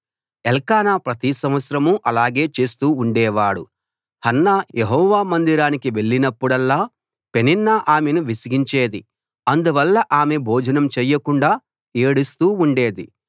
ఎల్కానా ప్రతి సంవత్సరం అలాగే చేస్తూ ఉండేవాడు హన్నా యెహోవా మందిరానికి వెళ్ళినప్పుడల్లా పెనిన్నా ఆమెను విసిగించేది అందువల్ల ఆమె భోజనం చేయకుండా ఏడుస్తూ ఉండేది